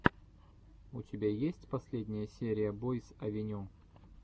у тебя есть последняя серия бойс авеню